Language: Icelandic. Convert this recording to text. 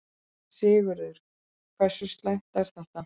Sigurður, hversu slæmt er þetta?